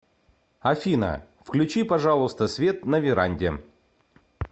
афина включи пожалуйста свет на веранде